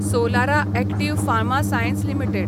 Solara Active Pharma Sciences limited